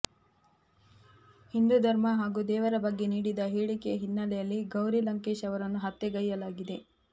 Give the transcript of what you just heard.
ಹಿಂದೂ ಧರ್ಮ ಹಾಗೂ ದೇವರ ಬಗ್ಗೆ ನೀಡಿದ ಹೇಳಿಕೆ ಹಿನ್ನೆಲೆಯಲ್ಲಿ ಗೌರಿ ಲಂಕೇಶ್ ಅವರನ್ನು ಹತ್ಯೆಗೈಯಲಾಗಿದೆ